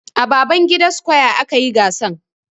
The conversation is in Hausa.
A Babangida square a kayi gasan.